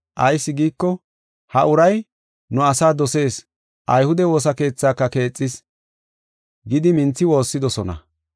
Ayis giiko, ha uray nu asaa dosees, ayhude woosa keethaaka keexis” gidi minthi woossidosona